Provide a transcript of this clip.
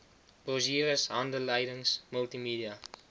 brosjures handleidings multimedia